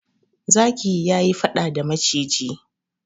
Zaki ya yi faɗa da maciji.